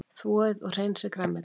Þvoið og hreinsið grænmetið.